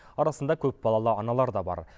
арасында көпбалалы аналар да бар